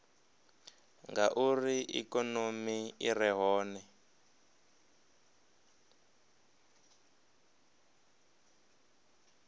ngauri ikonomi i re hone